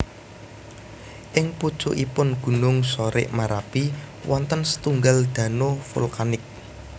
Ing pucukipun gunung Sorik Marapi wonten setunggal dano vulkanik